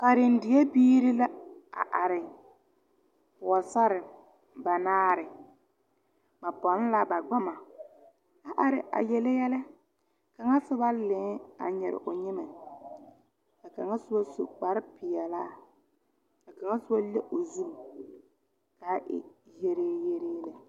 Kanre die biire la a are. Pɔgɔsare banaare. Ba ponne la ba gbama a are a yele yɛle. Kanga suba laeŋ a nyire o nyimɛ. Ka kanga suba su kparo piɛlaa, ka kanga suba le o zu kaa e yɛlee yɛlee le.